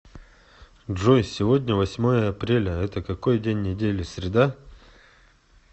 джой сегодня восьмое апреля это какой день недели среда